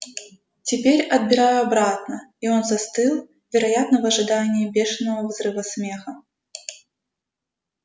теперь отбираю обратно и он застыл вероятно в ожидании бешеного взрыва смеха